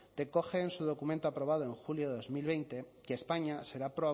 recoge en su documento aprobado en julio de dos mil veinte que españa será